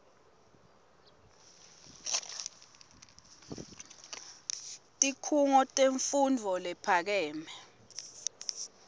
tikhungo temfundvo lephakeme